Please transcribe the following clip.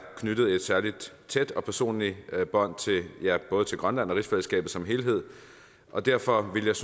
knyttet et særlig tæt og personligt bånd til både grønland og rigsfællesskabet som helhed og derfor ville jeg